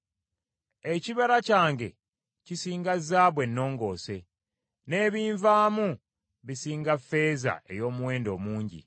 Ekibala kyange kisinga zaabu ennongoose, n’ebinvaamu bisinga ffeeza ey’omuwendo omungi.